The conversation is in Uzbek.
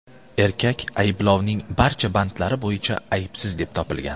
Erkak ayblovning barcha bandlari bo‘yicha aybsiz deb topilgan.